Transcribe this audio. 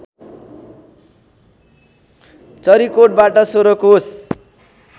चरिकोटबाट १६ कोष